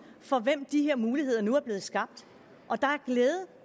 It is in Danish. for hvem de her muligheder nu er blevet skabt